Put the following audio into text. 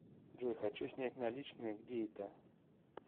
джой хочу снять наличные где это